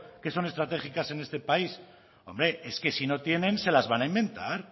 que son estratégicas en este país hombre es que si no tienen se las van a inventar